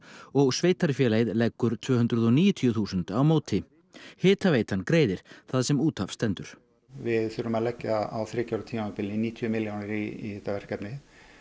og sveitarfélagið leggur tvö hundruð og níutíu þúsund á móti hitaveitan greiðir það sem út af stendur við þurfum að leggja á þriggja ára tímabili níutíu milljónir í þetta verkefni